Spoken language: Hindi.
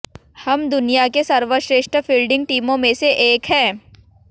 हम दुनिया के सर्वश्रेष्ठ फील्डिंग टीमों में से एक हैं